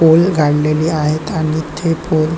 pole काडलेले आहेत आणि ते पोल --